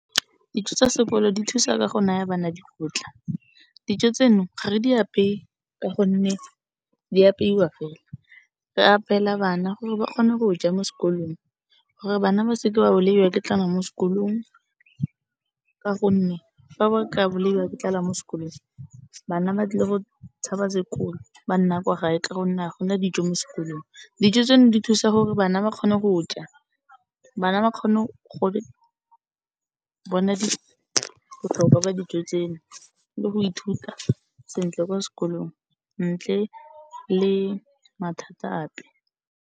Dijo tsa sekolo di thusa ka go naya bana dikotla, dijo tseno ga re di apeye ka gonne di apeiwa fela, re apela bana gore ba kgone go ja mo sekolong, gore bana ba se ke ba bolaiwa ke tlala mo sekolong, ka gonne fa ba ka bolaiwa ke tlala mo sekolong, bana ba tlile go tshaba sekolo ba nna kwa gae ka gonne ga go na dijo mo sekolong. Dijo tseno di thusa bana gore ba kgone go ja, bana ba kgone gore, bona di botlhokwa ba dijo tseno le go ithuta sentle kwa sekolong ntle le mathata ape.